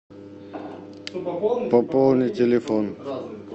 пополни телефон